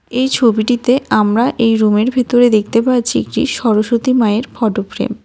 এই ছবিটিতে আমরা এই রুমের ভিতরে দেখতে পাচ্ছি একটি সরস্বতী মায়ের ফটো ফ্রেম .